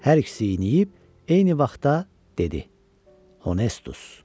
Hər ikisi yeyib, eyni vaxtda dedi: Honustus.